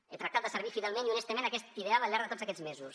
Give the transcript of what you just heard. he tractat de servir fidelment i honestament aquest ideal al llarg de tots aquests mesos